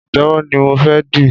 Pàtẹ́wọ́ ni mo fé di.